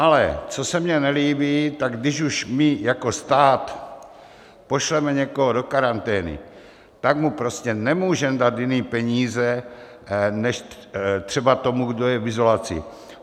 Ale co se mně nelíbí, tak když už my jako stát pošleme někoho do karantény, tak mu prostě nemůžeme dát jiné peníze než třeba tomu, kdo je v izolaci.